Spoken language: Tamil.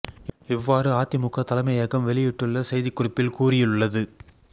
இவ்வாறு அதிமுக தலைமயகம் வெளியிட்டுள்ள செய்திக் குறிப்பில் கூறியுள்ளது